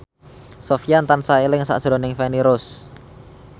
Sofyan tansah eling sakjroning Feni Rose